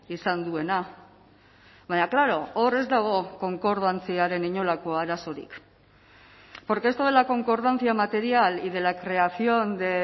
izan duena baina klaro hor ez dago konkordantziaren inolako arazorik porque esto de la concordancia material y de la creación de